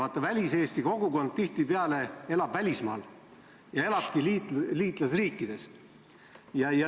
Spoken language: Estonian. Vaata, väliseesti kogukond elab välismaal, paljud neist liitlasriikides.